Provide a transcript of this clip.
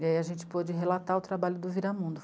E aí a gente pôde relatar o trabalho do Viramundo.